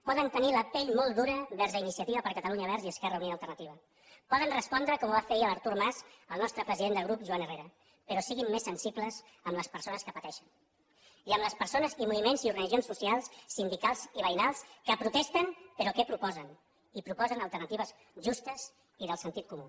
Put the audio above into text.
poden tenir la pell molt dura vers iniciativa per catalunya verds i esquerra unida i alternativa poden respondre com ho va fer ahir l’artur mas al nostre president de grup joan herrera però siguin més sensibles amb les persones que pateixen i amb les persones i moviments i organitzacions socials sindicals i veïnals que protesten però que proposen i proposen alternatives justes i de sentit comú